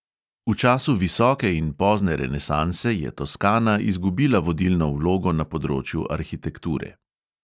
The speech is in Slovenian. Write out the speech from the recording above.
V času visoke in pozne renesanse je toskana izgubila vodilno vlogo na področju arhitekture.